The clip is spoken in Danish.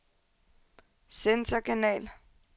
centerkanal